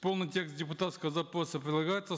полный текст депутатского запроса прилагается